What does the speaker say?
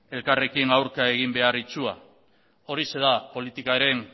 elkarrekin aurka egin behar itsua horixe da politikaren